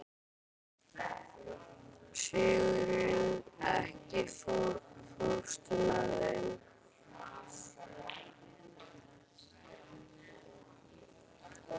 Sigurunn, ekki fórstu með þeim?